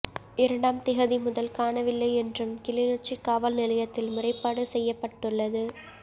இரண்டாம் திகதி முதல் காணவில்லை என்றும் கிளிநொச்சி காவல் நிலையத்தில் முறைப்பாடு செய்யப்பட்டுள்ளது